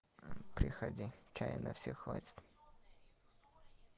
приходи чая на всех хватит